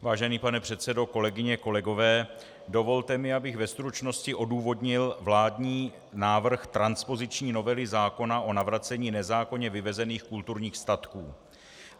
Vážený pane předsedo, kolegyně, kolegové, dovolte mi, abych ve stručnosti odůvodnil vládní návrh transpoziční novely zákona o navracení nezákonně vyvezených kulturních statků.